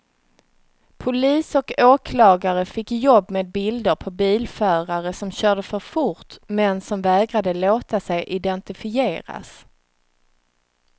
Polis och åklagare fick jobb med bilder på bilförare som körde för fort men som vägrade låta sig identifieras.